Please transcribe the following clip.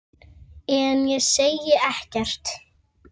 En ég segi ekkert.